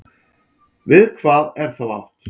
Við hvað er þá átt?